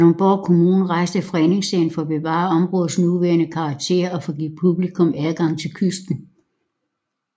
Kalundborg Kommune rejste fredningssagen for at bevare områdets nuværende karakter og for at give publikum adgang til kysten